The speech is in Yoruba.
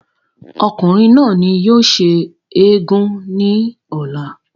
ọkùnrin náà ni yóò ṣe eégún ní ọ̀la